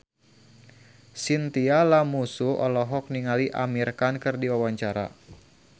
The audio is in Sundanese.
Chintya Lamusu olohok ningali Amir Khan keur diwawancara